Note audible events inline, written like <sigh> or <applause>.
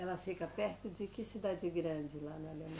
Ela fica perto de que cidade grande lá na <unintelligible>